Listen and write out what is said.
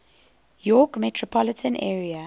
york metropolitan area